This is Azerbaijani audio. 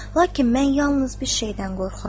Lakin mən yalnız bir şeydən qorxuram.